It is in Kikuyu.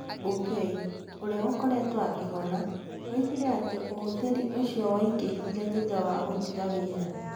Bungei, ũrĩa akoretwo akĩhona, oigire atĩ ũhuthĩri ũcio waingĩhire thutha wa gũtiga wĩra.